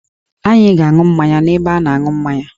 Anyị ga-aṅụ mmanya n'ebe a na-aṅụ mmanya